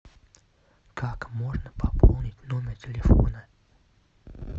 как можно пополнить номер телефона